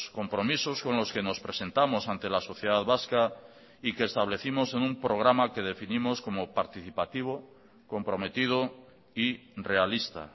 compromisos con los que nos presentamos ante la sociedad vasca y que establecimos en un programa que definimos como participativo comprometido y realista